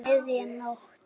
Um miðja nótt.